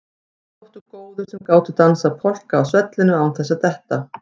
Þeir þóttu góðir sem gátu dansað polka á svellinu án þess að detta.